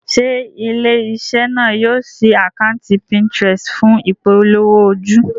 Ṣé ilé-iṣẹ́ náà yóò ṣí àkátì Pinterest fún ìpolówó ojú?